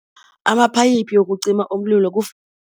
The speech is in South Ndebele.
Amaphayiphi wokucima umlilo